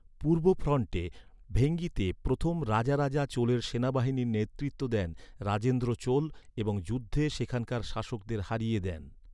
পূর্ব ফ্রন্টে, ভেঙ্গিতে প্রথম রাজারাজা চোলের সেনাবাহিনীর নেতৃত্ব দেন রাজেন্দ্র চোল এবং যুদ্ধে সেখানকার শাসকদের হারিয়ে দেন।